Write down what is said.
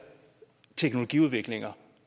teknologiudviklinger